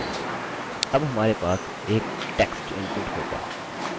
अब हमारे पास एक text इनपुट होगा